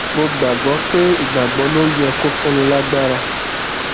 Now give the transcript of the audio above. mo gbà gbó pé ìgbàgbọ ló yẹ kó fúnni lágbára